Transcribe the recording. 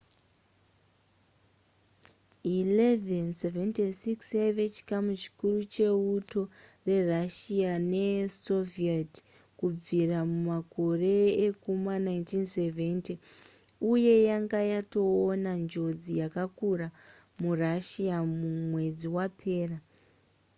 il-76 yaive chikamu chikuru cheuto rerussia nesoviet kubvira mumakore ekuma 1970 uye yanga yatoona njodzi yakakura murussia mwedzi wapera